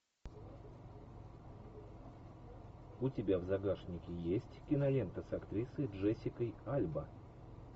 у тебя в загашнике есть кинолента с актрисой джессикой альба